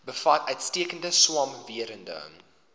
bevat uitstekende swamwerende